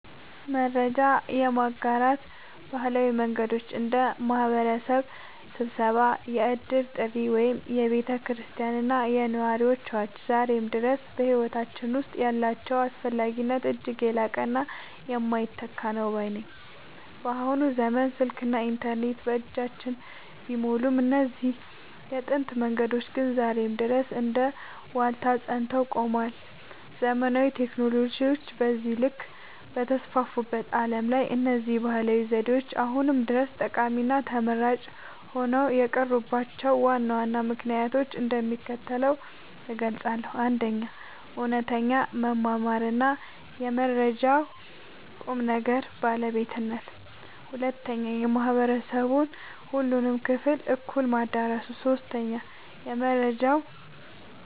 መረጃ የማጋራት ባህላዊ መንገዶች (እንደ ማኅበረሰብ ስብሰባ፣ የዕድር ጥሪ ወይም የቤተ ክርስቲያንና የነዋሪዎች አዋጅ) ዛሬም ድረስ በሕይወታችን ውስጥ ያላቸው አስፈላጊነት እጅግ የላቀና የማይተካ ነው ባይ ነኝ። በአሁኑ ዘመን ስልክና ኢንተርኔት በየእጃችን ቢሞሉም፣ እነዚህ የጥንት መንገዶች ግን ዛሬም ድረስ እንደ ዋልታ ጸንተው ቆመዋል። ዘመናዊ ቴክኖሎጂዎች በዚህ ልክ በተስፋፉበት ዓለም ላይ፣ እነዚህ ባህላዊ ዘዴዎች አሁንም ድረስ ጠቃሚና ተመራጭ ሆነው የቀሩባቸውን ዋና ዋና ምክንያቶች እንደሚከተለው እገልጻለሁ፦ 1. እውነተኛ መተማመንና የመረጃው ቁም ነገር (ባለቤትነት) 2. የማኅበረሰቡን ሁሉንም ክፍል እኩል ማዳረሱ 3. የመረጃው